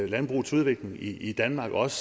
landbrugets udvikling i danmark også